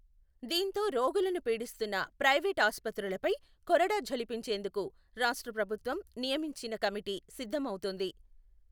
దీంతో రోగులను పీడిస్తున్న ప్రైవేటు ఆస్పత్రులపై కొరడా ఝళిపించేందుకు రాష్ట్ర ప్రభుత్వం నియమించిన కమిటీ సిద్ధమవుతోంది.